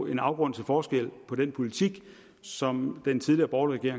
en afgrund til forskel på den politik som den tidligere borgerlige